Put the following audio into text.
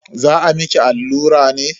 Za a miki allura ne?